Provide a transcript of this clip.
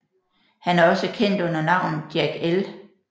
Han er også kendt under navnet Jack L